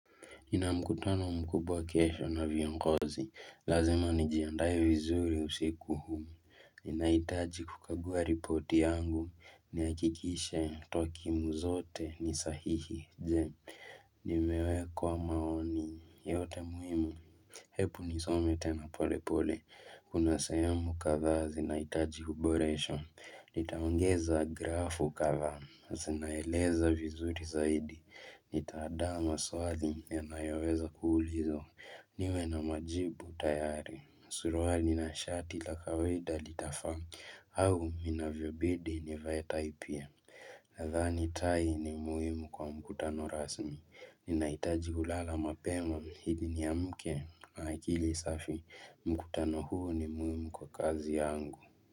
Nina mkutano mkubwa kesho na viongozi. Lazima nijiandae vizuri usiku huu. Ninahitaji kukagua ripoti yangu. Nihakikishe twakimu zote. Ni sahihi, je, Nimeweka maoni yote muhimu. Hebu nisome tena pole pole. Kuna sehemu kadhaa zinahitaji kuboreshwa. Nitaongeza grafu kadhaa. Zinaeleza vizuri zaidi. Nitaandaa maswali yanayoweza kuulizwa. Niwe na majibu tayari. Suruali na shati la kawaida litafaa au inavyobidi nivae tai pia. Nadhani tai ni muhimu kwa mkutano rasmi Ninahitaji kulala mapema ili niamke na akili safi. Mkutano huo ni muhimu kwa kazi yangu.